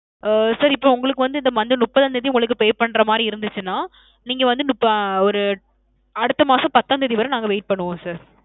ஆ. sir இப்ப உங்களுக்கு வந்து இந்த month முப்பதாம் தேதி உங்களுக்கு pay பண்ற மாதிரி இருந்துச்சுன்னா, நீங்க வந்து ~ ஒரு, அடுத்த மாசம் பத்தாம் தேதி வர நாங்க wait பன்னுவோம் sir.